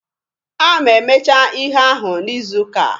A ma-emecha ihe ahụ n'izuuka a.